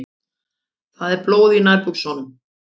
Það er blóð í nærbuxunum.